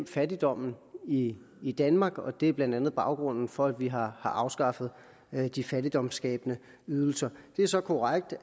fattigdommen i i danmark og det er blandt andet baggrunden for at vi har afskaffet de fattigdomsskabende ydelser det er så korrekt